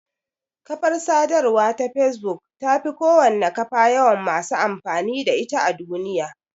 Kafar sadarwa ta facebook tafi kowane kafa yawan masu amfani da ita a duniya.